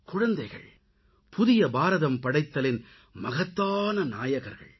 குழந்தைகள் புதிய பாரதம் படைத்தலின் மகத்தான நாயகர்கள்